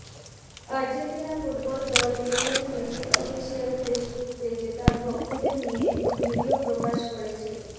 Argentina football দল Lionel মেসির official Facebook পেজে তার ভক্তদের নিয়ে একটি ভিডিও প্রকাশ করেছে